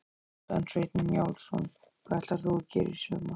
Kjartan Hreinn Njálsson: Hvað ætlar þú að gera í sumar?